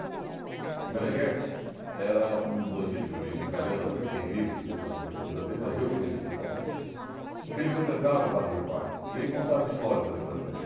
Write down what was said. O Menegheti era um bandido de origem italiana, também tem livros escritos a respeito da vida dele, mas eu o conheci pessoalmente, porque ele frequentava o bar do meu pai e ele contava histórias ali para a gente.